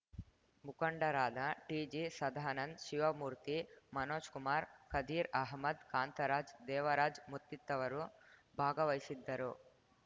ಮುಖಂಡರಾದ ಟಿಜಿ ಸದಾನಂದ್‌ ಶಿವಮೂರ್ತಿ ಮನೋಜ್‌ಕುಮಾರ್‌ ಖದೀರ್‌ ಅಹಮದ್‌ ಕಾಂತರಾಜ್‌ ದೇವರಾಜ್‌ ಮುತ್ತಿತವರು ಭಾಗವಹಿಸಿದ್ದರು